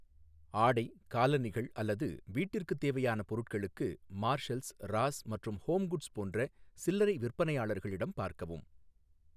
ஆடை, காலணிகள் அல்லது வீட்டிற்குத் தேவையான பொருட்களுக்கு, மார்ஷல்ஸ், ராஸ் மற்றும் ஹோம்குட்ஸ் போன்ற சில்லறை விற்பனையாளர்களிடம் பார்க்கவும்.